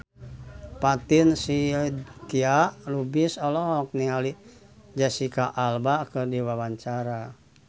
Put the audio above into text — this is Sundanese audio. Fatin Shidqia Lubis olohok ningali Jesicca Alba keur diwawancara